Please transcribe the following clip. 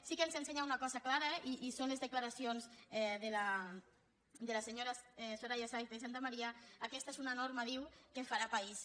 sí que ens ensenya una cosa clara i són les declaracions de la senyora soraya sáenz de santamaría aquesta és una norma diu que farà país